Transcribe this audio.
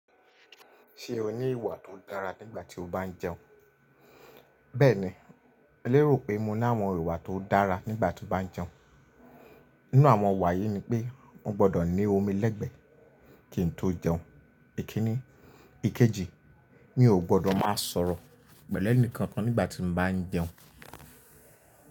Ṣe o ni ìwà tó dára nígbà tí o bá ń jẹun? Bẹ́ẹ̀ni, e lè rò pé mo ní àwọn ìwà tó dára nígbà tí mo bá ń jẹun. Nínú àwọn ìwà yí ni pé mo gbọ́dọ̀ ní omi lẹ́gbẹ̀ẹ́ kí n tó jẹun, èkíni. Ikeji, mi ò gbọ́dọ̀ máa sọ̀rọ̀ pẹ̀lú ẹnikẹ́ni nígbà tí mo bá ń jẹun.